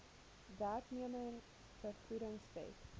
werknemers vergoedings wet